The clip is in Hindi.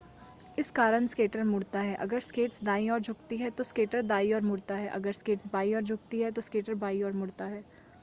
इस कारण स्केटर मुड़ता है अगर स्केट्स दाईं ओर झुकती हैं तो स्केटर दाईं ओर मुड़ता है अगर स्केट्स बाईं ओर झुकती हैं तो स्केटर बाईं ओर मुड़ता है